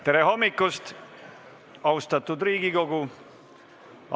Tere hommikust, austatud Riigikogu!